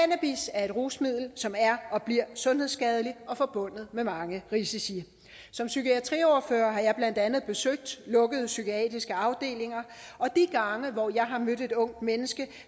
er et rusmiddel som er og bliver sundhedsskadeligt og forbundet med mange risici som psykiatriordfører har jeg blandt andet besøgt lukkede psykiatriske afdelinger og de gange hvor jeg har mødt et ungt menneske